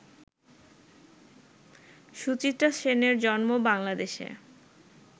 সুচিত্রা সেনের জন্ম বাংলাদেশে